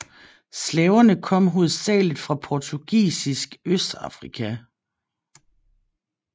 Slaverne kom hovedsageligt fra portugisisk Østafrika